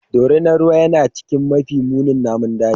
Dorinar ruwa yana cikin mafi munin namun daji.